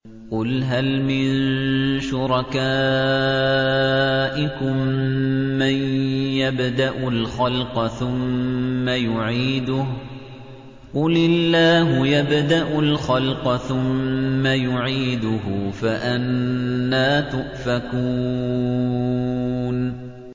قُلْ هَلْ مِن شُرَكَائِكُم مَّن يَبْدَأُ الْخَلْقَ ثُمَّ يُعِيدُهُ ۚ قُلِ اللَّهُ يَبْدَأُ الْخَلْقَ ثُمَّ يُعِيدُهُ ۖ فَأَنَّىٰ تُؤْفَكُونَ